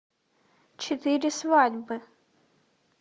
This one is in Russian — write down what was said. четыре свадьбы